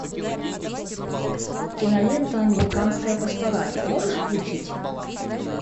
кинолента американская пастораль можешь включить